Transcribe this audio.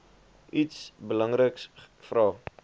iets belangriks vra